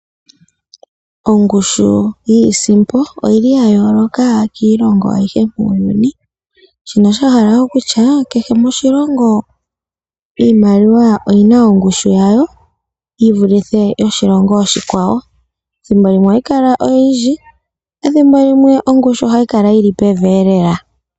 Ongushu yiisimpo oyili ya yooloka kiilongo ayihe muuyuni. Shino osha hala okutya kehe moshilongo iimaliwa oyina ongushu yawo yi vulithe yoshilongo oshikwawo. Thimbo limwe ohayi kala oyindji ethimbo limwe ongushu ohayi kala yili pevi lela.